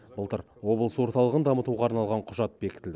былтыр облыс орталығын дамытуға арналған құжат бекітілді